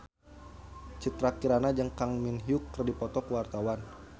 Citra Kirana jeung Kang Min Hyuk keur dipoto ku wartawan